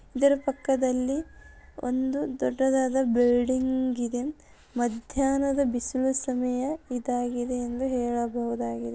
ಇದರ ಪಕ್ಕದಲ್ಲಿ ಒಂದು ದೊಡ್ಡದಾದ ಬಿಲ್ಡಿಂಗ್ ಇದೆ. ಮಧ್ಯಾಹ್ನದ ಬಿಸಿಲು ಸಮಯ ಇದಾಗಿದೆ ಎಂದು ಹೇಳಬಹುದಾಗಿದೆ.